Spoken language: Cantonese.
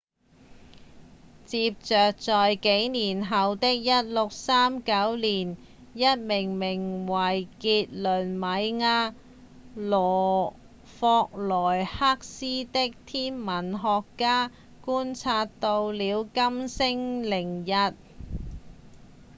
接著在幾年後的1639年一名名為傑雷米亞·霍羅克斯的天文學家觀察到了金星凌日